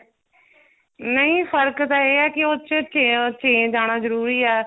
ਨਹੀਂ ਫ਼ਰਕ ਤਾਂ ਇਹ ਹੈ ਕਿ ਉਸ ਚ change ਆਨਾ ਜਰੂਰੀ ਏ